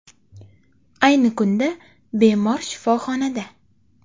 Ayni kunda bemor shifoxonada.